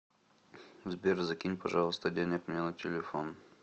сбер закинь пожалуйста денег мне на телефон